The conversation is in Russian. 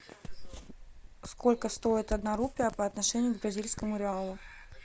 сколько стоит одна рупия по отношению к бразильскому реалу